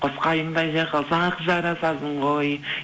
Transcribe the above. қос қайыңдай жайқалсақ жарасасың ғой